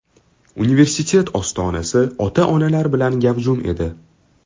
Universitet ostonasi ota-onalar bilan gavjum edi.